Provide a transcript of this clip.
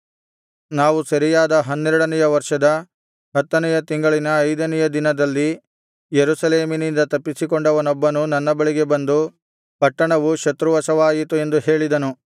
ನಾವು ಸೆರೆಯಾದ ಹನ್ನೆರಡನೆಯ ವರ್ಷದ ಹತ್ತನೆಯ ತಿಂಗಳಿನ ಐದನೆಯ ದಿನದಲ್ಲಿ ಯೆರೂಸಲೇಮಿನಿಂದ ತಪ್ಪಿಸಿಕೊಂಡವನೊಬ್ಬನು ನನ್ನ ಬಳಿಗೆ ಬಂದು ಪಟ್ಟಣವು ಶತ್ರುವಶವಾಯಿತು ಎಂದು ಹೇಳಿದನು